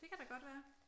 Det kan da godt være